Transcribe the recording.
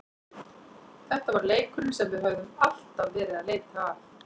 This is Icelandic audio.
Þetta var leikurinn sem við höfðum alltaf verið að leita að.